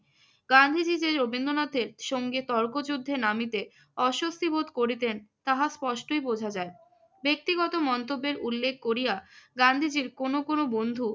গান্ধীজি যে রবীন্দ্রনাথের সঙ্গে তর্কযুদ্ধে নামিতে অস্বস্তি বোধ করিতেন তাহা স্পষ্ট এই বুঝা যায়। ব্যক্তিগত মন্তব্যের উল্লেখ করিয়া গান্ধীজির কোন কোন বন্ধু